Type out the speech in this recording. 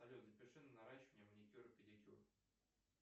салют запиши на наращивание маникюр и педикюр